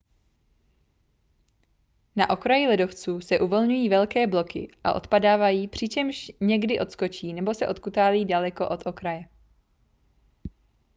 na okraji ledovců se uvolňují velké bloky a odpadávají přičemž někdy odskočí nebo se odkutálí daleko od okraje